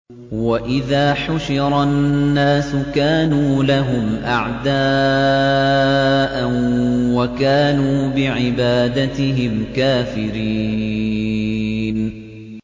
وَإِذَا حُشِرَ النَّاسُ كَانُوا لَهُمْ أَعْدَاءً وَكَانُوا بِعِبَادَتِهِمْ كَافِرِينَ